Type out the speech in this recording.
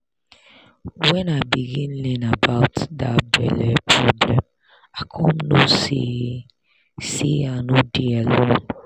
when i begin learn about that belle problem i con know say say i no dey alone